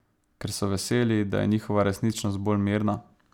Ker so veseli, da je njihova resničnost bolj mirna?